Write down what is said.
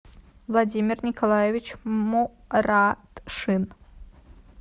владимир николаевич моратшин